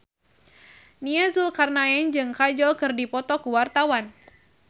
Nia Zulkarnaen jeung Kajol keur dipoto ku wartawan